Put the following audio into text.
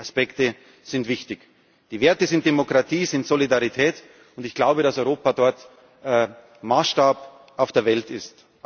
Regeln. Beide Aspekte sind wichtig. Die Werte sind Demokratie und Solidarität, und ich glaube, dass Europa dort Maßstab auf der Welt